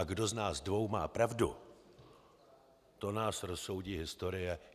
A kdo z nás dvou má pravdu, to nás rozsoudí historie.